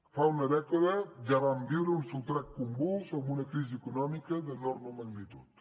fa una dècada ja vam viure un sotrac convuls amb una crisi econòmica d’enorme magnitud